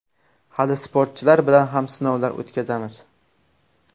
Hali sportchilar bilan ham sinovlar o‘tkazamiz.